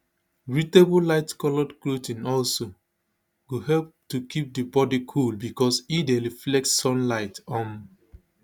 breathable lightcoloured clothing also go help to keep di body cool becos e dey reflects sunlight um